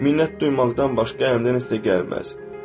Minnət duymaqdan başqa həmdən heç nə gəlmir.